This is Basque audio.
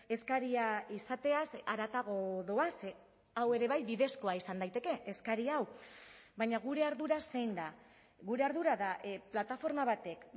eskaria izateaz haratago doa ze hau ere bai bidezkoa izan daiteke eskari hau baina gure ardura zein da gure ardura da plataforma batek